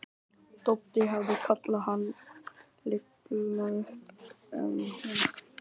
Doddi hefði kallað hann lygalaup ef hún hefði hætt við að koma.